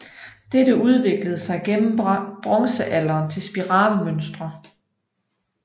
Dette udviklede sig gennem bronzealderen til spiralmønstre